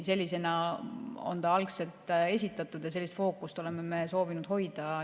Sellisena on ta algselt esitatud ja sellist fookust oleme me soovinud hoida.